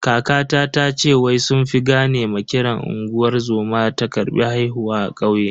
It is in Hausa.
Kakata tace wai sun fi gane ma kiran unguwar zoma ta karbi haihuwa a kauye.